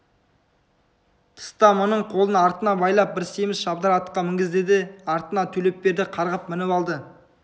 тыста мұның қолын артына байлап бір семіз шабдар атқа мінгізді де артына төлепберді қарғып мініп алды